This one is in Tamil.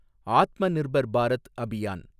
ஆத்மநிர்பர் பாரத் அபியான்